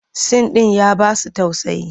Sin ɗin ya ba su tausayi.